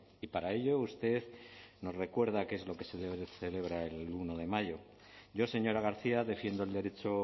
y para ello usted nos recuerda qué es lo que se celebra el uno de mayo yo señora garcia defiendo el derecho